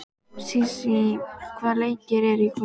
Sísí, hvaða leikir eru í kvöld?